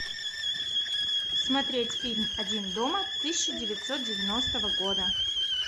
смотреть фильм один дома тысяча девятьсот девяностого года